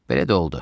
Belə də oldu.